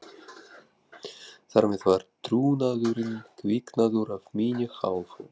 Þar með var trúnaðurinn kviknaður af minni hálfu.